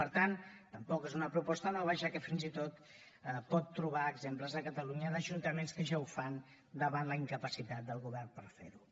per tant tampoc és una proposta nova ja que fins i tot pot trobar exemples a catalunya d’ajuntaments que ja ho fan davant la incapacitat del govern per fer ho